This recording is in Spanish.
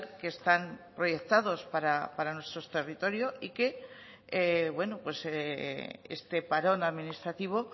que están proyectados para nuestro territorio y que este parón administrativo